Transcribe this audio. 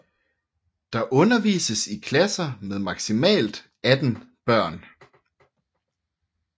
Der undervises i klasser med maksimalt 18 børn